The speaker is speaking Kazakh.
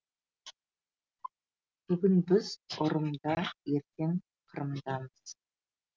бүгін біз ұрымда ертең қырымдамыз